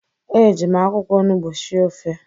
Eji m akwụkwọ onugbu sie ofe